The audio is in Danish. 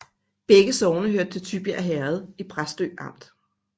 Begge sogne hørte til Tybjerg Herred i Præstø Amt